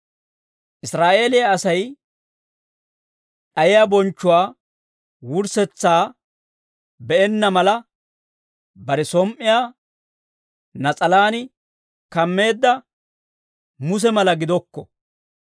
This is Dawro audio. Israa'eeliyaa Asay d'ayiyaa bonchchuwaa wurssetsaa be'enna mala, bare som"iyaa nas'alaan kammeedda Muse mala gidokko.